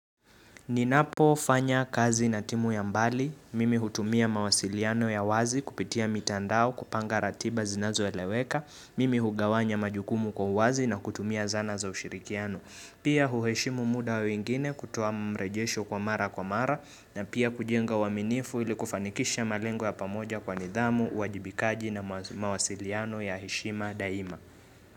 Ninapo fanya kazi na timu ya mbali. Mimi hutumia mawasiliano ya wazi kupitia mitandao kupanga ratiba zinazoeleweka. Mimi hugawanya majukumu kwa uwazi na kutumia zana za ushirikiano. Pia huheshimu muda wa wengine kutoa mrejesho kwa mara kwa mara na pia kujenga uaminifu ili kufanikisha malengo ya pamoja kwa nidhamu, uwajibikaji na mawasiliano ya heshima daima.